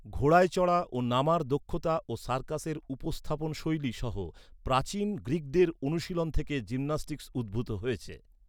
ঘোড়ায় চড়া ও নামার দক্ষতা ও সার্কাসের উপস্থাপনশৈলী সহ প্রাচীন গ্রিকদের অনুশীলন থেকে জিমন্যাস্টিক্স উদ্ভূত হয়েছে।